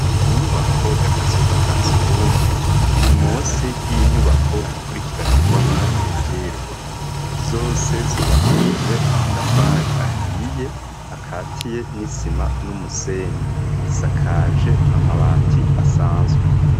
Inyubako, y'akazu ka surwumwe, iri munsi y'inyubako, ikurikiranirwamwo ivyirwa; zose, zubakishije amatafari, ahiye, akatiye n'isima, n'umusenyi; zisakaje amabati asanzwe.